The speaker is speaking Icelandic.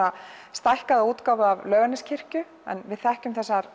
stækkaða útgáfu af Laugarneskirkju við þekkjum þessar